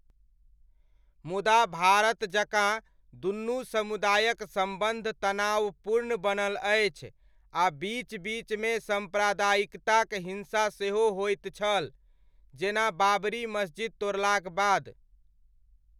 मुदा भारत जकाँ दुनू समुदायक सम्बन्ध तनावपूर्ण बनल अछि आ बीच बीचमे साम्प्रदायिक हिन्सा सेहो होइत छल, जेना बाबरी मस्जिद तोड़लाक बाद।